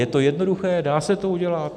Je to jednoduché, dá se to udělat.